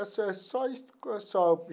É só só isso só.